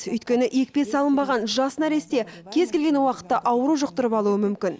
өйткені екпе салынбаған жас нәресте кез келген уақытта ауру жұқтырып алуы мүмкін